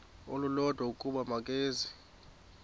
olulodwa ukuba makeze